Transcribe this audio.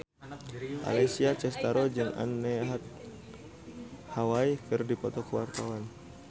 Alessia Cestaro jeung Anne Hathaway keur dipoto ku wartawan